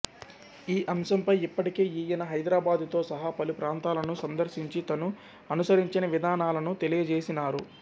ఈ అంశంపై ఇప్పటికే ఈయన హైదరాబాదుతో సహా పలు ప్రాంతాలను సందర్శించి తను అనుసరించిన విధానాలను తెలియజేసినారు